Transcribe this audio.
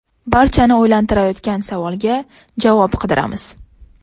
Barchani o‘ylantirayotgan savolga javob qidiramiz.